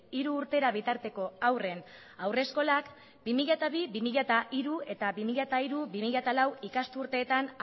hiru urtera bitarteko haurren haurreskolak bi mila bi bi mila hiru eta bi mila hiru bi mila lau ikasturteetan